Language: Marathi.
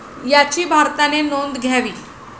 याची भारताने नोंद घ्यावी.